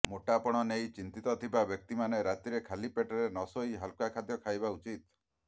ମୋଟାପଣ ନେଇ ଚିନ୍ତିତ ଥିବା ବ୍ୟକ୍ତିମାନେ ରାତିରେ ଖାଲି ପେଟରେ ନ ଶୋଇ ହାଲୁକା ଖାଦ୍ୟ ଖାଇବା ଉଚିତ